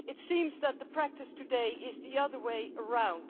It seems that the practice today is the other way round.